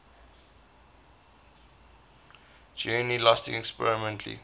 journey lasting approximately